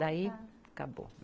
Daí, acabou.